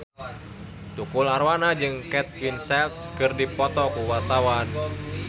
Tukul Arwana jeung Kate Winslet keur dipoto ku wartawan